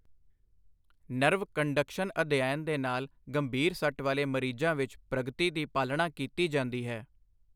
Nerve conduction ਅਧਿਐਨ ਦੇ ਨਾਲ ਗੰਭੀਰ ਸੱਟ ਵਾਲੇ ਮਰੀਜ਼ਾਂ ਵਿੱਚ, ਪ੍ਰਗਤੀ ਦੀ ਪਾਲਣਾ ਕੀਤੀ ਜਾਂਦੀ ਹੈ।